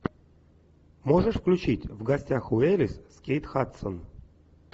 можешь включить в гостях у элис с кейт хадсон